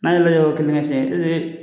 N'a yɛla yɔrɔ kelen ŋɛ tiɲɛ kelen